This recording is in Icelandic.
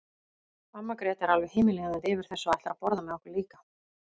Amma Gréta er alveg himinlifandi yfir þessu og ætlar að borða með okkur líka.